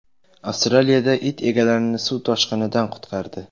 Avstraliyada it egalarini suv toshqinidan qutqardi.